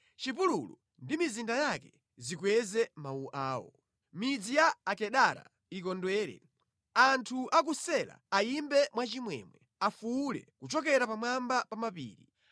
Chipululu ndi mizinda yake zikweze mawu awo; midzi ya Akedara ikondwere. Anthu a ku Sela ayimbe mwachimwemwe; afuwule kuchokera pamwamba pa mapiri.